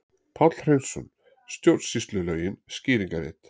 Páll Hreinsson: Stjórnsýslulögin, skýringarrit.